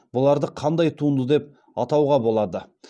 бұларды қандай туынды деп атауға болады